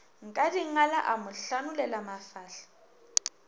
nkadingala a mo hlanolela mafahla